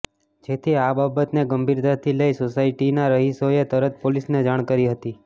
જેથી આ બાબતને ગંભીરતાથી લઈ સોસાયટીના રહીશોએ તરત પોલીસને જાણ કરી હતી